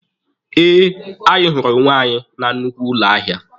Eh, anyị hụrụ onwe anyị na nnukwu ụlọ ahịa.